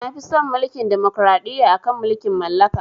Nafi son Mulkin demokraɗiyya akan mulkin mallaka.